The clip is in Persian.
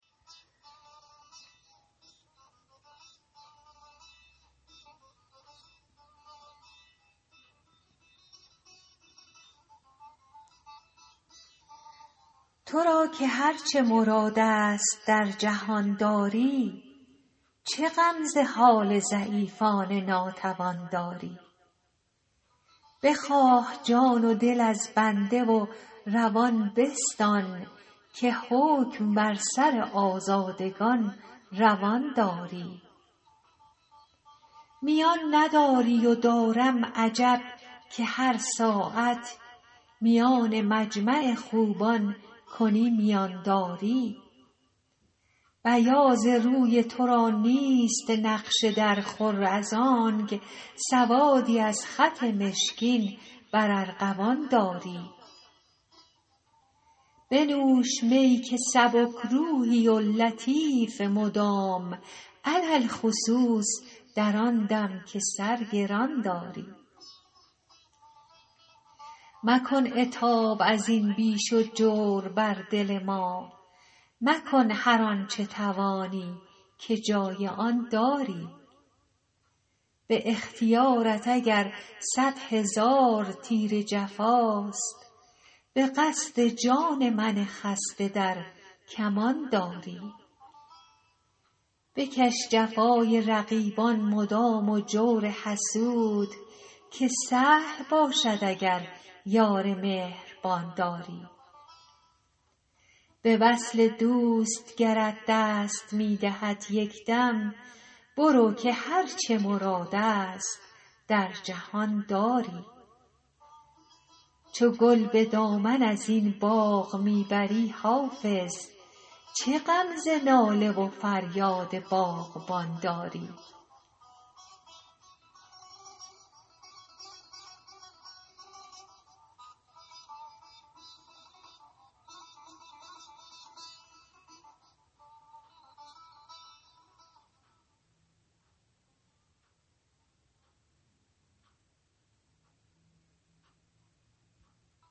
تو را که هر چه مراد است در جهان داری چه غم ز حال ضعیفان ناتوان داری بخواه جان و دل از بنده و روان بستان که حکم بر سر آزادگان روان داری میان نداری و دارم عجب که هر ساعت میان مجمع خوبان کنی میان داری بیاض روی تو را نیست نقش درخور از آنک سوادی از خط مشکین بر ارغوان داری بنوش می که سبک روحی و لطیف مدام علی الخصوص در آن دم که سر گران داری مکن عتاب از این بیش و جور بر دل ما مکن هر آن چه توانی که جای آن داری به اختیارت اگر صد هزار تیر جفاست به قصد جان من خسته در کمان داری بکش جفای رقیبان مدام و جور حسود که سهل باشد اگر یار مهربان داری به وصل دوست گرت دست می دهد یک دم برو که هر چه مراد است در جهان داری چو گل به دامن از این باغ می بری حافظ چه غم ز ناله و فریاد باغبان داری